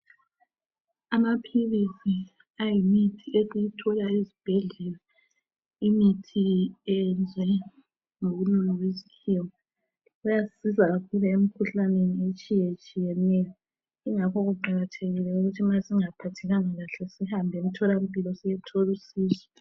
Amaphilisi ayimithi esiyithola ezibhedlela, imithi eyenziwe ngobunono besikhiwa. Ayasisiza kakhulu emkhuhlaneni etshiyetshiyeneyo kungakho kuqakathekile ukuthi ma singaphathekanga kahle sihambe emtholampilo siyethola usizo.